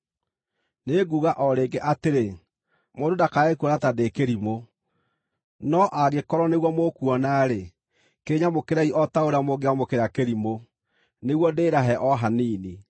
Nĩnguuga o rĩngĩ atĩrĩ: Mũndũ ndakae kuona ta ndĩ kĩrimũ. No angĩkorwo nĩguo mũkuona-rĩ, kĩnyamũkĩrei o ta ũrĩa mũngĩamũkĩra kĩrimũ, nĩguo ndĩĩrahe o hanini.